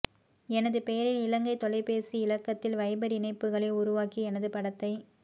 எனது பெயரில் இலங்கை தொலைபேசி இலக்கத்தில் வைபர் இணைப்புகளை உருவாக்கி எனது படத்தைப்